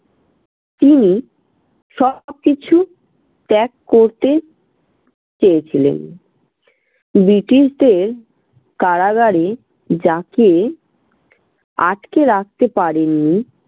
তিনি সবকিছু ত্যাগ করতে চেয়েছিলেন। ব্রিটিশদের কারাগারে যাকে আটকে রাখতে পারেনি